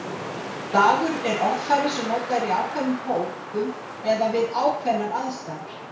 Slangur er orðfæri sem notað er í ákveðnum hópum eða við ákveðnar aðstæður.